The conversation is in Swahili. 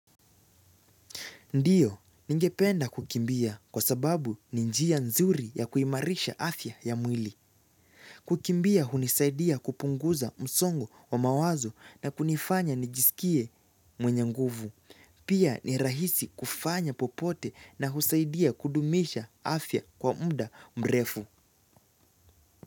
Ndiyo ningependa kukimbia kwa sababu ni njia nzuri ya kuimarisha afya ya mwili. Kukimbia hunisaidia kupunguza msongo wa mawazo na kunifanya nijisikie mwenye nguvu. Pia ni rahisi kufanya popote na husaidia kudumisha afya kwa muda mrefu.